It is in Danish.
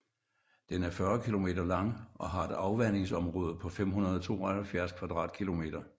Den er 40 kilometer lang og har et afvandingsområde på 572 kvadratkilometer